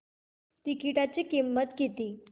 तिकीटाची किंमत किती